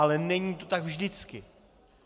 Ale není to tak vždycky.